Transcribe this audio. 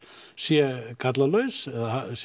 sé gallalaus eða